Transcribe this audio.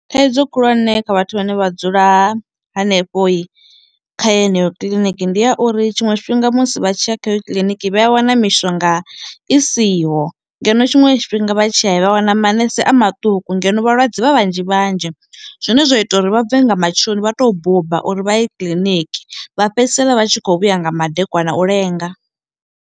Thaidzo khulwane kha vhathu vhane vha dzula hanefhoi kha yeneyo kiḽiniki ndi ya uri tshiṅwe tshifhinga musi vha tshiya khayo kiḽiniki vha ya wana mishonga i siho, ngeno tshiṅwe tshifhinga vha tshiya vha wana manese a maṱuku ngeno vhalwadze vha vhanzhi vhanzhi, zwine zwa ita uri vha bve nga matsheloni vha to buba uri vha ye kiḽiniki vha fhedzisela vha tshi kho vhuya nga madekwana u lenga.